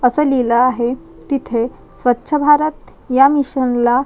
अस लिहिलं आहे तिथे स्वच्छ भारत या मिशनला--